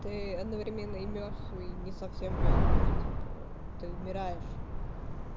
ты одновременно и мёртв и не совсем мёртв типа ты умираешь